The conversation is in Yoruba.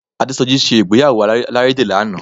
Adésọjí ṣe ìgbéyàwó alárédè lánàá